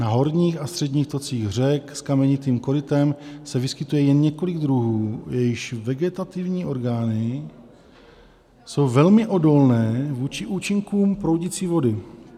Na horních a středních tocích řek s kamenitým korytem se vyskytuje jen několik druhů, jejichž vegetativní orgány jsou velmi odolné vůči účinkům proudící vody.